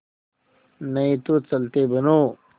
नहीं तो चलते बनो